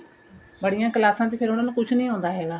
ਬੜੀਆ ਕਲਾਸਾ ਚ ਉਹਨੂੰ ਫੇਰ ਕੁੱਝ ਨੀਂ ਆਉਂਦਾ ਹੈਗਾ